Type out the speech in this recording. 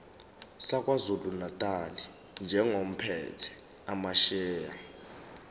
sakwazulunatali njengophethe amasheya